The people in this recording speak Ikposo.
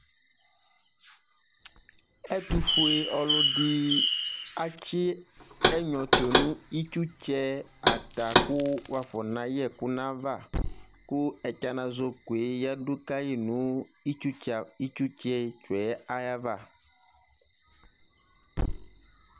Ɛtufue ɔlɔdi atsɛnyɔ tu nu itstsɛ buaku wafɔ nayɛku nayava ku ɛtsanazoko yadu kayi nu itsutsɛ tsuyɛ ayava